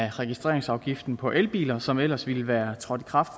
af registreringsafgiften på elbiler som ellers ville være trådt i kraft